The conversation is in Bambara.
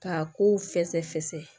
K'a kow fɛsɛfɛsɛ